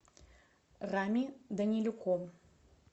рами данилюком